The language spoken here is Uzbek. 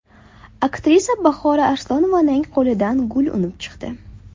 Aktrisa Bahora Arslonovaning qo‘lidan gul unib chiqdi.